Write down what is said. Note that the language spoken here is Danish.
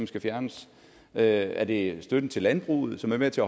skal fjernes er er det støtten til landbruget som er med til